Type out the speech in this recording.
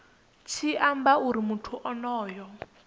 tshi amba uri muthu onoyo